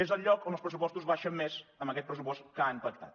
és el lloc on els pressupostos baixen més en aquest pressupost que han pactat